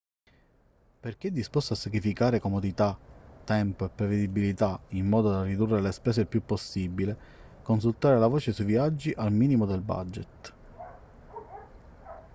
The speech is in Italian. per chi è disposto a sacrificare comodità tempo e prevedibilità in modo da ridurre le spese il più possibile consultare la voce sui viaggi al minimo del budget